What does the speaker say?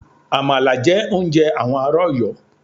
Àmàlà jẹ́ oúnjẹ àwọn ará Ọ̀yọ́.